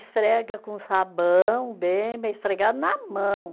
Esfrega com sabão, bem bem esfregado, na mão.